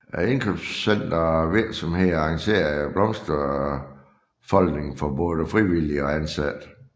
Indkøbscentre og virksomheder arrangerede blomsterfoldning for både frivillige og ansatte